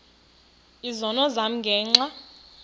izono zam ngenxa